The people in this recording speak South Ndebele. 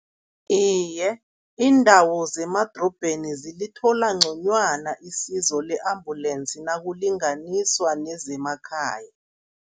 Iye, iindawo zemadorobheni zilithola ngconywana isizo le-ambulensi nakulinganiswa nezemakhaya.